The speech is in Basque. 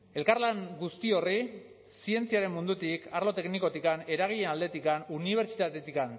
elkarlan guzti horri zientziaren mundutik arlo teknikotik eragileen aldetik unibertsitatetik